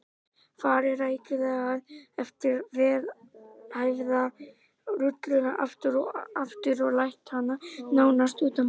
Farið rækilega yfir vel æfða rulluna aftur og aftur og lært hana nánast utanbókar.